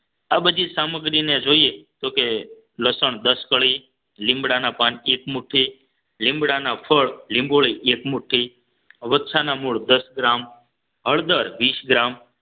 આ બધી સામગ્રીને જોઈએ તો કે લસણ દસ કળી લીમડાના પાન એક મુઠ્ઠી લીમડાના ફળ લીંબોળી એક મુઠ્ઠી વચ્છાના મૂળ દસ ગ્રામ હળદર વીસ ગ્રામ